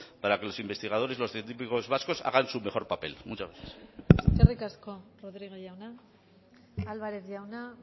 para que los investigadores los científicos vascos hagan su mejor papel muchas gracias eskerrik asko rodríguez jauna álvarez jauna